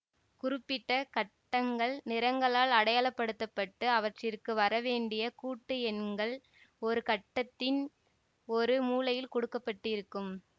குறிப்பிட்ட கட்டங்கள் நிறங்களால் அடையாளப்படுத்தப்பட்டு அவற்றிற்கு வரவேண்டிய கூட்டு எண்கள் ஒரு கட்டத்தின் ஒரு மூலையில் கொடுக்க பட்டிருக்கும்